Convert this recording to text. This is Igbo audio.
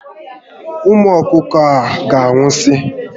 Ụmụ ọkụkọ ahụ ga anwụsi